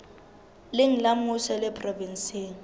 leng la mmuso le provenseng